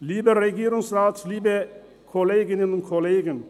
Lieber Regierungsrat, liebe Kolleginnen und Kollegen: